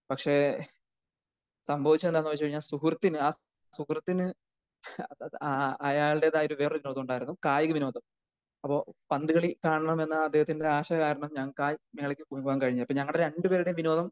പക്ഷെ സംഭവിച്ചതെന്താന്ന് വെച്ച് കഴിഞ്ഞാൽ സുഹൃത്തിന് ആഹ് സുഹൃത്തിന് ആഹ് അയാളുടെതായിട്ടുള്ള ഒരു വേറെ വിനോദം ഉണ്ടായിരുന്നു. കായിക വിനോദം. അപ്പോ പന്ത് കളി കാണണം എന്ന അദ്ദേഹത്തിന്റെ ഒരു ആശ കാരണം ഞങ്ങക്ക് ആ മേളക്ക് പോകാൻ കഴിഞ്ഞില്ല. അപ്പൊ ഞങ്ങടെ രണ്ട് പേരുടെയും വിനോദം